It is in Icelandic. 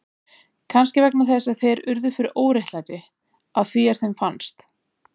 Kannski vegna þess að þeir urðu fyrir óréttlæti, að því er þeim fannst.